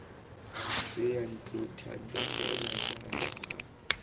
seyantlo thando fela jalo rra